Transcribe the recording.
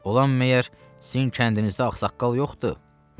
Olan məgər sizin kəndinizdə axsaqqal yoxdur?